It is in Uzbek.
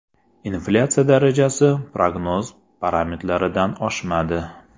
Inflyatsiya darajasi prognoz parametrlaridan oshmadi.